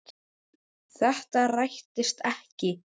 Þetta rættist ekki.